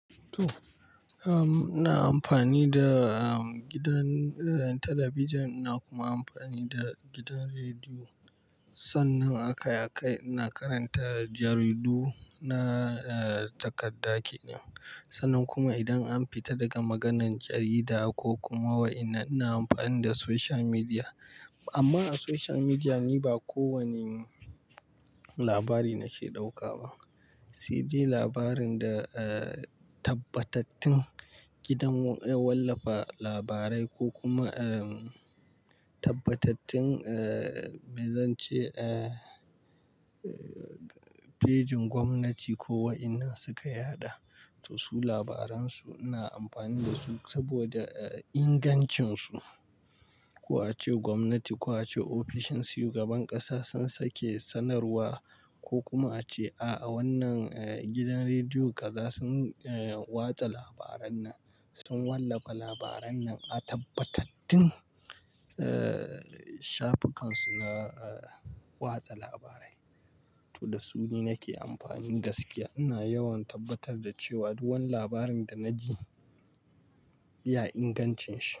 To, um, ina amfani da gidan, eh, talabijin ina kuma amfani da gidan rediyo. Sannan akai, akai-- ina karanta jaridu na, eh, takarda kenan. Sannan kuma idan an fita daga maganan jarida ko kuma wa ina, ina amfani da social media. Amma a social media ni ba kowane labari na ke ɗauka ba, sai de labarin da, eh, tabbatattun gidan wallafa labarai ko kuma, eh, tabbatattun, eh, me zan ce, eh, eh, fejin gwamnati ko wa ina su ka yaɗa. To su labaran su ina amfani da su saboda ingancin su. Ko a ce gwamnati ko a ce ofishin shugaban ƙasa sun sake sanarwa ko kuma a ce, a a wannan gidan rediyo kaza sun, eh, watsa labaran nan, sun wallafa labaran nan a tabbatattun, eh, shafukan su na, eh, watsa labarai. To da su ni nake amfani gaskiya. Ina yawan tabbatar da cewa duk wani labarin da na ji ya inganci shi.